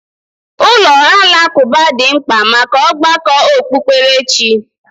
Ụlọ alakụba dị mkpa maka ọgbakọ okpukperechi.